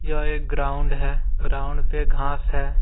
यह एक ग्राउंड है ग्राउंड पे घास है।